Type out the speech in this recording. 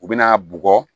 U bɛna bugɔ